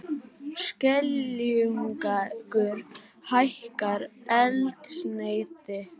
Skeljungur hækkar eldsneyti